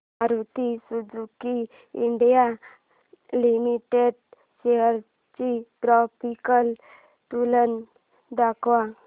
Maruti Suzuki India limited shares ची graphical तुलना दाखव